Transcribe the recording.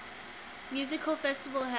music festival held